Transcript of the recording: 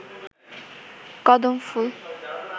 কদম ফুল